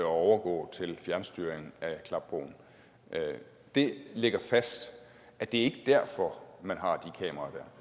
overgå til fjernstyring af klapbroen det ligger fast at det ikke er derfor man har de kameraer